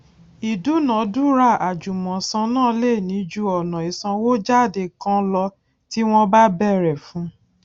ìdúnadúrà àjùmòsan náà lè ní ju ọnà ìsànwójáde kan lọ tí wọn bá bẹrẹ fun